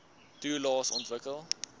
toelaes aansoek